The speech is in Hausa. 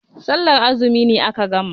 Sallar azumi ne aka gama.